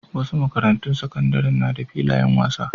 Wasu makarantun sakandaren na da filayen wasa.